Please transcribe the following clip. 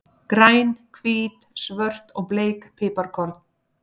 Græn, hvít, svört og bleik piparkorn.